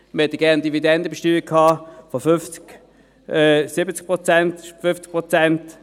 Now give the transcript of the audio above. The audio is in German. Wir hätten gerne eine Dividendenbesteuerung von 50, 70 Prozent, 50 Prozent.